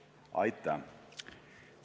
Aitäh!